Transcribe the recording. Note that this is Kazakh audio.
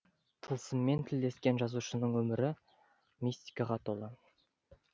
тылсыммен тілдескен жазушының өмірі мистикаға толы